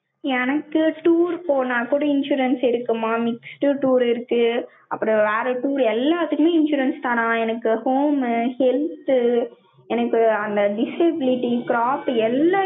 எனக்கு tour போனா கூட, insurance இருக்குமாம், mixed tour இருக்கு. அப்புறம் வேற tour எல்லாத்துக்குமே insurance தானாம். எனக்கு home, health, எனக்கு அந்த disability, crop உ